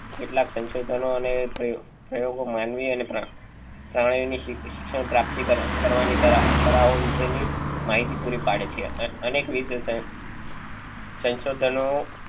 કેટલાક સંશોધન ઓ અને તે પ્રયોગો માનવી અને પ્રા પ્રાણી ની શિક શિક્ષણ પ્રાપ્તિ કરવા ની તરવ તરવો વિશે ની માહિતી પૂરી પાડે છે અનેક સંશોધનો